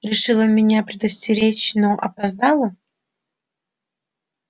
решила меня предостеречь но опоздала